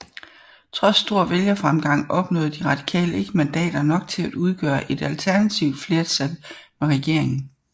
Trods stor vælgerfremgang opnåede De Radikale ikke mandater nok til at udgøre et alternativt flertal med regeringen